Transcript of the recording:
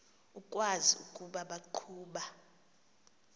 ukwazi ukuba baqhuba